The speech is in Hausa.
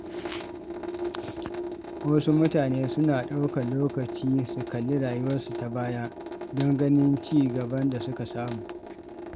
Wasu mutane suna ɗaukar lokaci su kalli rayuwarsu ta baya don ganin ci gaban da suka samu.